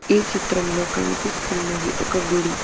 ఈ చిత్రంలో కనిపిస్తున్నది ఒక గుడి.